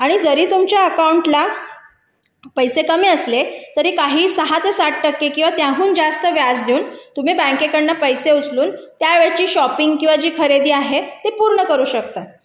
आणि जरी तुमच्या अकाउंटला पैसे कमी असले तरी काही सहा ते सात टक्के किंवा त्याहून जास्त जास्त व्याज देऊन तुम्ही बँकेकडून पैसे उचलून तुम्ही त्या शॉपिंगची किंवा खरेदीची ती पूर्ण करू शकता